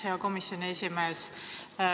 Hea komisjoni esimees!